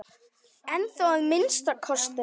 Ennþá að minnsta kosti.